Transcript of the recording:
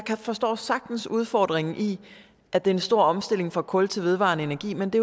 forstår sagtens udfordringen i at det er en stor omstilling fra kul til vedvarende energi men det